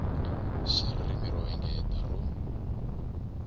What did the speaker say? xa ririmi ro engetela ro